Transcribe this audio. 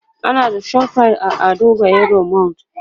ana da ShopRite a Ado bayero mall